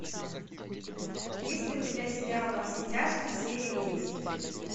есть ли у тебя сериал во все тяжкие серия десять